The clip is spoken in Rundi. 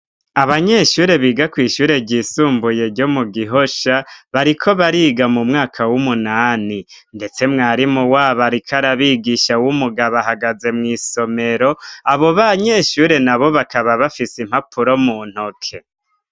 Abanyeshure biga kw'ishure ryisumbuye ryo mu Gihosha, bariko bariga mu mwaka w'umunani, ndetse mwarimu wabo ariko arabigisha w'umugabo, ahagaze mw'isomero, abo banyeshure nabo bakaba bafise impapuro mu ntoke.